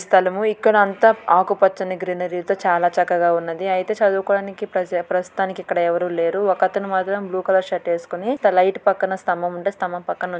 ఈ స్థలము. ఇక్కడ అంతా ఆకుపచ్చని గ్రీనరీ తో చాలా చక్కగా ఉన్నది. అయితే చదువుకోవడానికి ప్రజ ప్రస్తుతానికి ఇక్కడ ఎవరు లేరు. ఒకతను మాత్రం బ్లూ కలర్ షర్టేసుకుని లైట్ పక్కన స్తంభం ఉంటె స్తంభం పక్కన--